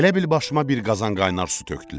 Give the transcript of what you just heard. Elə bil başıma bir qazan qaynar su tökdülər.